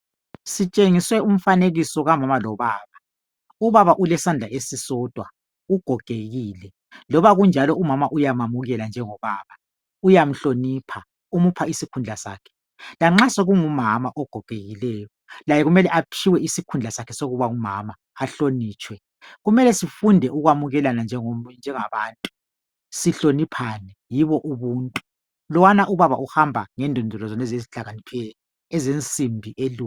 Sitshengiswe umfanekiso kamama lobaba. Ubaba ulesandla esisodwa, ugogekile. Loba kunjalo umama uyamamukela njengobaba, uyamhlonipha umupha isikhundla sakhe lanxa sekungumama ogogekileyo, laye kumele aphiwe isikhundla sakhe sokuba ngumama ahlonitshwe. Kumele sifunde ukwamukelana njengom njengabantu sihloniphane, yibo ubuntu. Lowana ubaba uhamba ngendondolo zonezo ezihlakaniphileyo ezensimbi elu